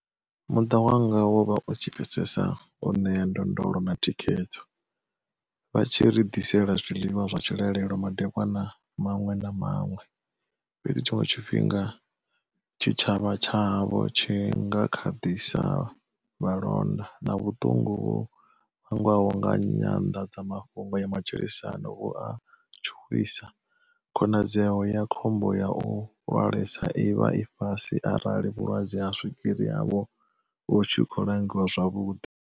Muṱa wanga wo vha u tshi pfesesa, u ṋea ndondolo na thikhedzo, vha tshi ri ḓisela zwiḽiwa zwa tshilalelo madekwana maṅwe na maṅwe, fhedzi tshiṅwe tshifhinga tshitshavha tsha havho tshi nga kha ḓi sa londa, na vhuṱungu vhu vhangwaho nga nyanḓadzamafhungo ya matshilisano vhu a tshuwisa, khonadzeo ya khombo ya u lwalesa i vha fhasi arali vhulwadze ha swigiri havho vhu tshi khou langiwa zwavhuḓi.